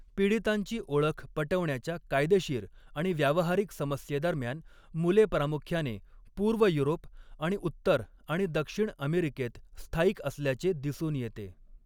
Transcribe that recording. पीडितांची ओळख पटवण्याच्या कायदेशीर आणि व्यावहारिक समस्येदरम्यान, मुले प्रामुख्याने पूर्व युरोप आणि उत्तर आणि दक्षिण अमेरिकेत स्थायिक असल्याचे दिसून येते.